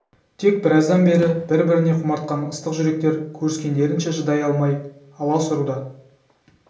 тек біраздан бері бір-біріне құмартқан ыстық жүректер көріскендерінше шыдай алмай алас ұруда